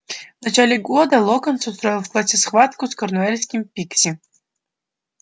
в начале года локонс устроил в классе схватку с корнуэльским пикси